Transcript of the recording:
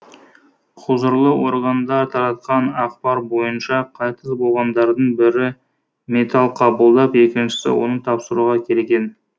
құзырлы органдар таратқан ақпар бойынша қайтыс болғандардың бірі металл қабылдап екіншісі оны тапсыруға келген